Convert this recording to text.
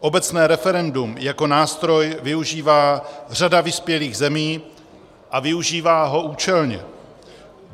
Obecné referendum jako nástroj využívá řada vyspělých zemí a využívá ho účelně.